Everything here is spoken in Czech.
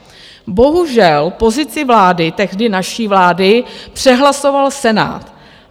Bohužel pozici vlády, tehdy naší vlády, přehlasoval Senát.